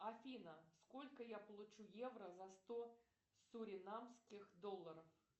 афина сколько я получу евро за сто суринамских долларов